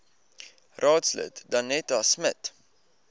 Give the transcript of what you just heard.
raadslid danetta smit